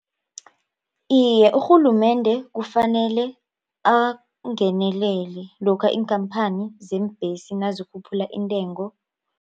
Iye urhulumende kufanele angenelele lokha iinkhamphani zeembhesi nazikhuphula intengo.